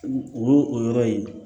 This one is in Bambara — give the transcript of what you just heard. O y'o o yɔrɔ ye